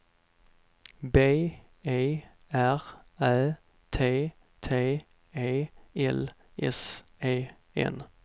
B E R Ä T T E L S E N